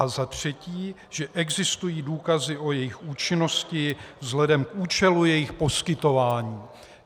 A za třetí, že existují důkazy o jejich účinnosti vzhledem k účelu jejich poskytování.